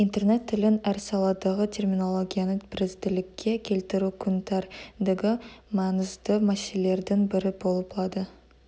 интернет тілін әр саладағы терминологияны бірізділікке келтіру күн тәр ндегі маңызды мәселелердің бірі болып лады